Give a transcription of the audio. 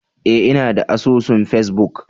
Eh inada asusun face-book.